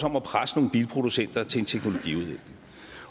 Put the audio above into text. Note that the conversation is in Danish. om at presse nogle bilproducenter til en teknologi